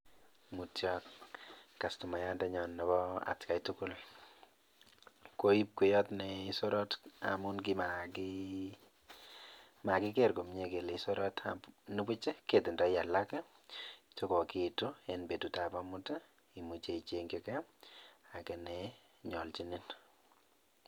Mutyo kastomayandenyo nebo atkai tugul, koib kweyot ne sorot amun kimakiker komie kele sorot, nebuch ketindoi alak che kokiitu en betutab amut ii imuche ichengchikei ake ne nyoljinin.